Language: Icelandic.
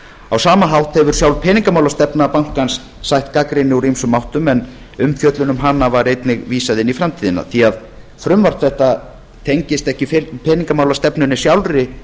á sama hátt hefur sjálf peningamálastefna bankans sætt gagnrýni úr ýmsum áttum en umfjöllun um hana var einnig vísað inn í framtíðina því að frumvarp þetta tengist ekki peningamálastefnunni sjálfri